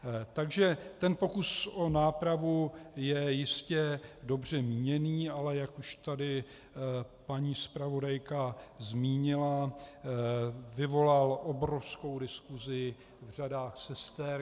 Takže ten pokus o nápravu je jistě dobře míněný, ale jak už tady paní zpravodajka zmínila, vyvolal obrovskou diskusi v řadách sester.